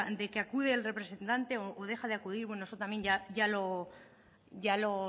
de que acude el representante o deja de acudir bueno eso también ya lo